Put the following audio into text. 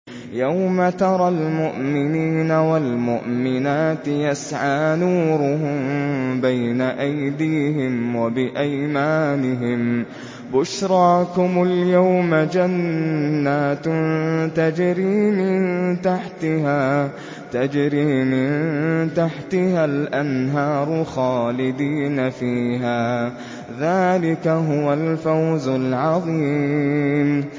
يَوْمَ تَرَى الْمُؤْمِنِينَ وَالْمُؤْمِنَاتِ يَسْعَىٰ نُورُهُم بَيْنَ أَيْدِيهِمْ وَبِأَيْمَانِهِم بُشْرَاكُمُ الْيَوْمَ جَنَّاتٌ تَجْرِي مِن تَحْتِهَا الْأَنْهَارُ خَالِدِينَ فِيهَا ۚ ذَٰلِكَ هُوَ الْفَوْزُ الْعَظِيمُ